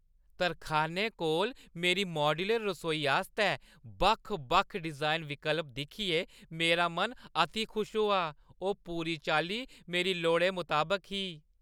तरखानै कोल मेरी माड्यूलर रसोई आस्तै बक्ख-बक्ख डिजाइन विकल्प दिक्खियै मेरा मन अति खुश होआ । ओह् पूरी चाल्ली मेरी लोड़ै मताबक ही।